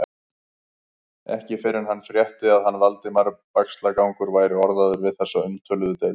Ekki fyrr en hann frétti, að hann, Valdimar Bægslagangur, væri orðaður við þessa umtöluðu deild.